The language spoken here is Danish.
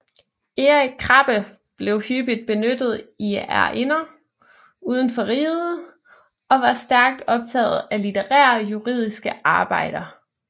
Erik Krabbe blev hyppigt benyttet i ærinder uden for riget og var stærkt optaget af litterære juridiske arbejder